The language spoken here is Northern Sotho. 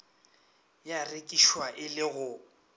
ya rekišwa e le go